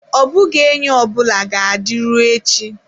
Ọ bụghị enyi ọ bụla ga-adịru echi.